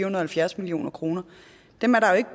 og halvfjerds million kroner er der ikke